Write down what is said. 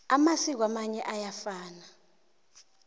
amasiko amanye ayafana